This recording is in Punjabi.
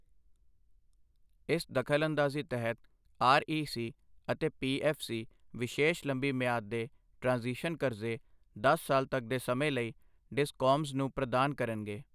ਇਸ ਦਖਲਅੰਦਾਜ਼ੀ ਤਹਿਤ ਆਰਈਸੀ ਅਤੇ ਪੀਐੱਫਸੀ ਵਿਸ਼ੇਸ਼ ਲੰਬੀ ਮਿਆਦ ਦੇ ਟ੍ਰਾਂਜ਼ੀਸ਼ਨ ਕਰਜ਼ੇ ਦਸ ਸਾਲ ਤੱਕ ਦੇ ਸਮੇਂ ਲਈ ਡਿਸਕੌਮਸ ਨੂੰ ਪ੍ਰਦਾਨ ਕਰਨਗੇ।